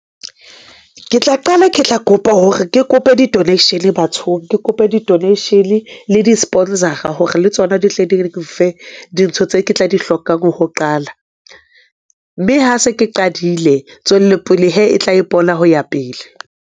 Ke tla qala, ke tla kopa hore ke kope di-donation bathong. Ke kopa di-donation le di-sponsor-a hore le tsona di hle di nfe dintho tse ke tla di hlokang ho qala. Mme ha se ke qadile tswellopele hee, e tla ipona ho ya pele.